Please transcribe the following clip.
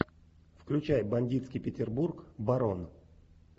включай бандитский петербург барон